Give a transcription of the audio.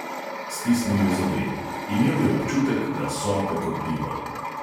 Stisnil je zobe; imel je občutek, da sope kot bivol.